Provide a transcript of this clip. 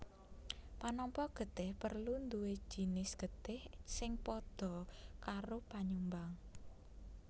Panampa getih perlu duwé jinis getih sing padha karo panyumbang